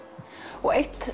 og eitt